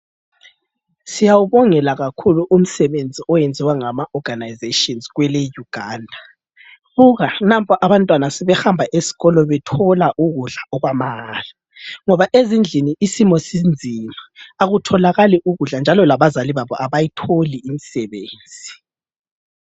Siyawubongela kakhulu umsebenzi oyenziwa ngamaorganisations kweleUganda. Buka nampa abantwana sebehamba esikolo bethola ukudla okwamahala ngoba ezindlini isimo sinzima akutholakali ukudla njalo labazali babo abayitholi imisebenzi.